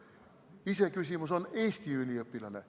Iseküsimus on Eestist pärit üliõpilane.